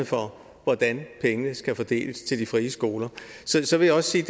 for hvordan pengene skal fordeles til de frie skoler så vil jeg også sige